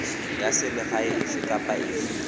ya selegae efe kapa efe